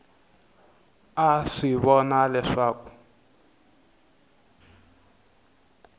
a a swi vona leswaku